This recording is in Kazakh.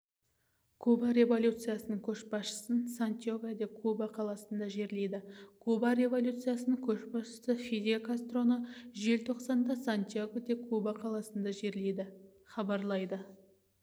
куба революциясының көшбасшысын сантьяго-де-куба қаласында жерлейді куба революциясының көшбасшысы фидель кастроны желтоқсанда сантьяго-де-куба қаласында жерлейді хабарлайды